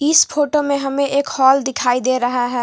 इस फोटो में हमें एक हॉल दिखाई दे रहा है।